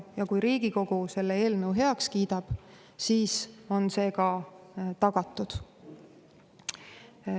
Ja kui Riigikogu selle eelnõu heaks kiidab, siis on see ka tagatud.